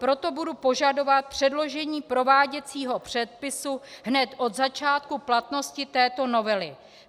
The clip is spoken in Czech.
Proto budu požadovat předložení prováděcího předpisu hned od začátku platnosti této novely.